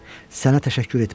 Sənə təşəkkür etmirəm.